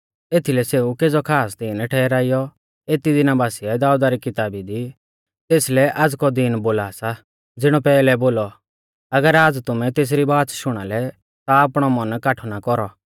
एथीलै सेऊ केज़ौ खास दिन ठहराइयौ एती दिना बासिऐ दाऊदा री किताबी दी तेसलै आज़ कौ दीन बोला सा ज़िणौ पैहलै बोलौ अगर आज़ तुमै तेसरी बाच़ शुणा लै ता आपणौ मन काठौ ना कौरौ